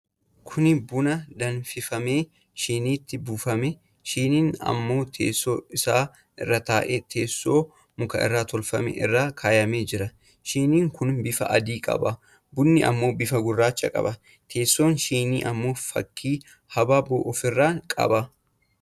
Kuni buna danfifamee shiniitti buufamee, shiniin ammoo teessoo isaa irra taa'ee teesso o muka irraa tolfame irra kaayamee jira. Shiniin kun bifa adii qaba. Bunni ammoo bifa gurraacha qaba. Teessoon shinii ammoo fakkii habaaboo of irraa qaba.